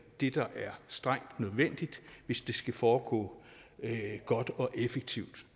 det der er strengt nødvendigt hvis det skal foregå godt og effektivt